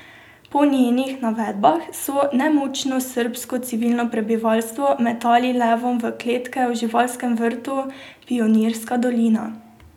Po njenih navedbah so nemočno srbsko civilno prebivalstvo metali levom v kletkah v Živalskem vrtu Pionirska dolina.